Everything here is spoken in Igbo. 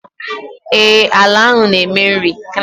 Ee, àlà áhù na eme nri